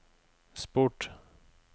sport